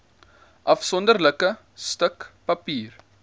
afsonderlike stuk papier